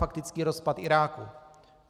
Faktický rozpad Iráku.